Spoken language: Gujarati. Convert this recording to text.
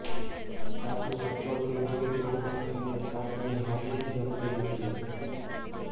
સાસુ સપોર્ટિવ હોય તો પણ એમને સાસુની હાજરી જ ગમતી નથી